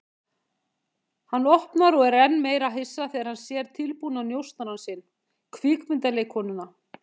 Hann opnar og er enn meira hissa þegar hann sér tilbúna njósnarann sinn, kvikmyndaleikkonuna.